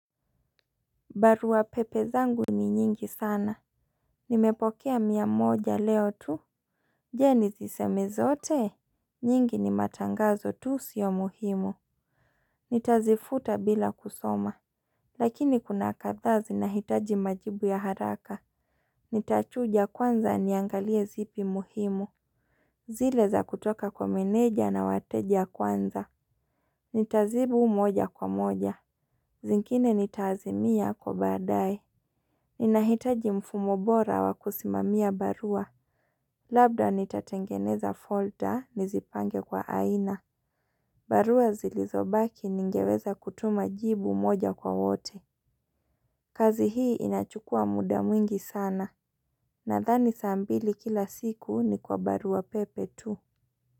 Barua pepe zangu ni nyingi sana. Nimepokea mia moja leo tu. Je? Nizi seme zote? Nyingi ni matangazo tu sio muhimu. Nitazifuta bila kusoma. Lakini kuna kathaa zinahitaji majibu ya haraka. Nitachuja kwanza niangalie zipi muhimu. Zile za kutoka kwa meneja na wateja kwanza. Nitajibu moja kwa moja. Zingine nitaazimia kwa baadaye. Ninahitaji mfumo bora wakusimamia barua. Labda nitatengeneza folda nizipange kwa aina. Barua zilizobaki ningeweza kutuma jibu moja kwa wote. Kazi hii inachukua muda mwingi sana. Nadhani saa mbili kila siku ni kwa barua pepe tu.